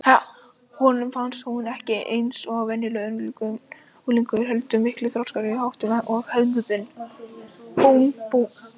Honum fannst hún ekki eins og venjulegur unglingur heldur miklu þroskaðri í háttum og hegðun.